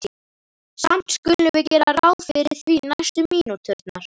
Samt skulum við gera ráð fyrir því næstu mínúturnar.